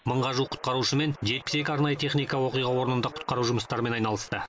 мыңға жуық құтқарушы мен жетпіс екі арнайы техника оқиға орнында құтқару жұмыстарымен айналысты